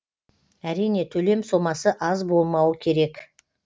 әрине төлем сомасы аз болмауы керек